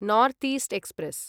north east express